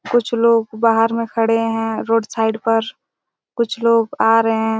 कुछ लोग बाहर में खड़े हैं रोड साइड पर कुछ लोग आ रहे हैं--